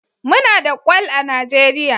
Muna da Kwal a Najeriya